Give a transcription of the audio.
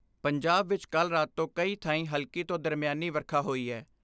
ਪੰਜਾਬ ਵਿਚ ਕੱਲ੍ਹ ਰਾਤ ਤੋਂ ਕਈ ਥਾਈਂ ਹਲਕੀ ਤੋਂ ਦਰਮਿਆਨੀ ਵਰਖਾ ਹੋਈ ਐ।